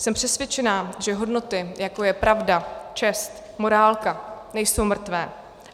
Jsem přesvědčená, že hodnoty, jako je pravda, čest, morálka, nejsou mrtvé.